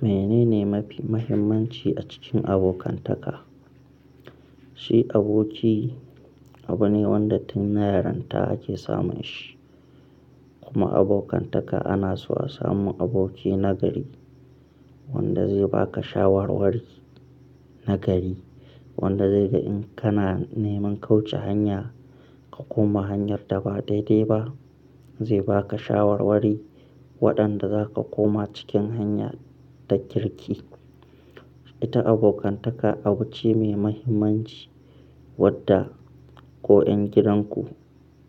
Menene mafi muhimmanci a cikin abokantaka? Shi aboki abu ne wanda tun yaranta ake samun shi. Kuma abokantaka ana so a samu aboki nagari wanda zai baka shawarwari nagari, wanda zai ga in kana neman kauce hanya ka koma hanyar da ba daidai ba zai baka shawarwari waɗanda za ka koma cikin hanya ta kirki. Ita abokantaka abu ce mai muhimmanci wadda ko ƴan gidanku